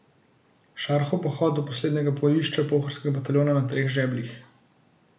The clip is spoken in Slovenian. Šarhov pohod do poslednjega bojišča Pohorskega bataljona na Treh žebljih.